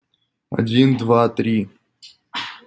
один два три